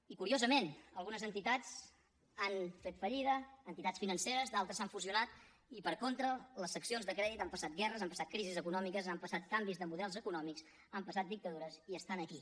i curiosament algunes entitats han fet fallida entitats financeres d’altres s’han fusionat i per contra les seccions de crèdit han passat guerres han passat crisis econòmiques han passat canvis de models econòmics han passat dictadures i estan aquí